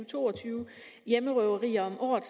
to og tyve hjemmerøverier om året